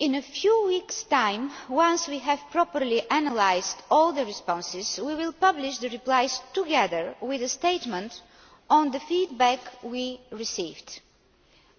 In a few weeks' time, once we have properly analysed all the responses, we will publish the replies, together with a statement on the feedback we received,